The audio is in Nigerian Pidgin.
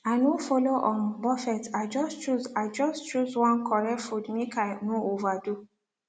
i no follow um buffet i just choose i just choose one correct food make i no overdo